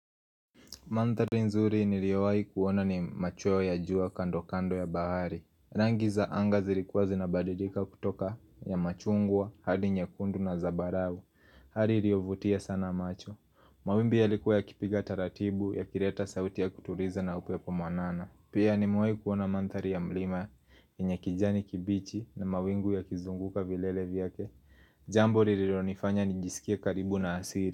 Manthari nzuri niliwahi kuona ni macho ya jua kando kando ya bahari. Rangi za anga zilkuwa zinabadidika kutoka ya machungwa, hadi nyekundu na zabarawu. Hali iliyovutia sana macho. Mawimbi yalikuwa ya kipiga taratibu ya kileta sauti ya kutuliza na upepo mwanana. Pia nimewahi kuona mantari ya mlima yenye kijani kibichi na mawingu ya kizunguka vilele vyake. Jambo lililonifanya nijisikia karibu na asiri.